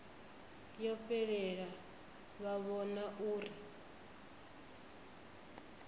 yo fhelela vha vhona uri